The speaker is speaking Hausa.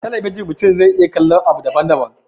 A talabijin mutum zai iya kallon abu daban daban